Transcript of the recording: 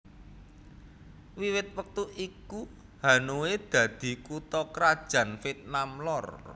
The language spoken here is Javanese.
Wiwit wektu iku Hanoi dadi kutha krajan Vietnam Lor